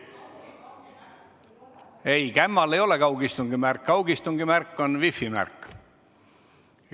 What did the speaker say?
Ei, kämmal ei ole kaugistungi märk, kaugistungi märk on wifi märk.